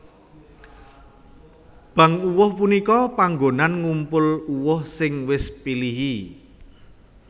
Bank uwuh punika panggonan ngumpul uwuh sing wis pilihi